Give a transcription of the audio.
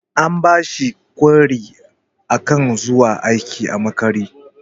An bashi kwairi akan zuwa aiki a makare.